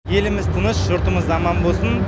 еліміз тыныш жұртымыз аман болсын